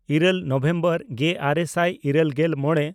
ᱤᱨᱟᱹᱞ ᱱᱚᱵᱷᱮᱢᱵᱚᱨ ᱜᱮᱼᱟᱨᱮ ᱥᱟᱭ ᱤᱨᱟᱹᱞᱜᱮᱞ ᱢᱚᱬᱮ